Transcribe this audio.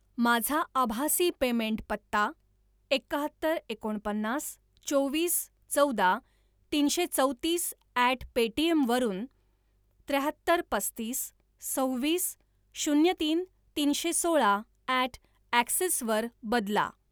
माझा आभासी पेमेंट पत्ता एकाहत्तर एकोणपन्नास चोवीस चौदा तीनशे चौतीस ॲट पेटीएम वरून त्र्याहत्तर पस्तीस सव्वीस शून्य तीन तीनशे सोळा ॲट ॲक्सिस वर बदला